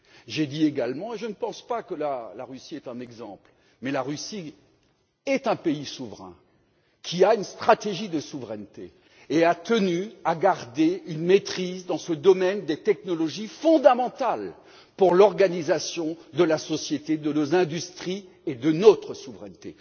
J'ai dit également et je ne pense pas que la Russie soit un exemple que la Russie est un pays souverain, qui a une stratégie de souveraineté et a tenu à garder une maîtrise dans ce domaine des technologies, fondamentale pour l'organisation de la société, de nos industries et de notre souveraineté.